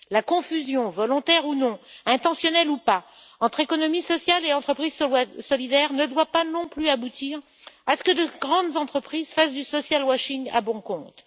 La confusion, volontaire ou non, intentionnelle ou pas, entre économie sociale et entreprises solidaires ne doit pas non plus aboutir à ce que de grandes entreprises fassent du social washing à bon compte.